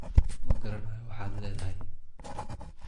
Ma garanayo waxaad leedahay